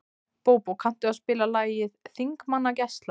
Bóbó, kanntu að spila lagið „Þingmannagæla“?